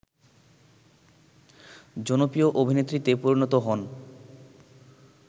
জনপ্রিয় অভিনেত্রীতে পরিণত হন